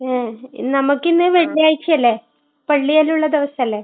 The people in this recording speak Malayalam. മ്മ്. നമുക്ക് ഇന്ന് വെള്ളിയാഴ്ചയല്ലേ. പള്ളിയെല്ലാം ഉള്ള ദിവസം അല്ലെ.